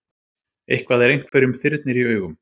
Eitthvað er einhverjum þyrnir í augum